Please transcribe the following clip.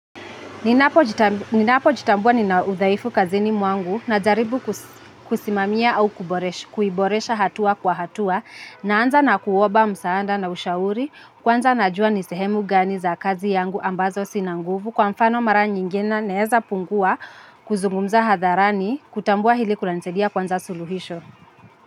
Ninapo jitambua nina udhaifu kazini mwangu najaribu kusimamia au kuboresha hatua kwa hatua naanza na kuomba msaada na ushauri kwanza najua ni sehemu gani za kazi yangu ambazo sina nguvu kwa mfano mara nyingine naweza pungua kuzungumza hadharani kutambua hili kunanisaidia kuanza suluhisho.